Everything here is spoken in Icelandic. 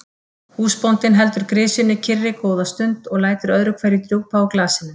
Húsbóndinn heldur grisjunni kyrri góða stund og lætur öðru hverju drjúpa úr glasinu.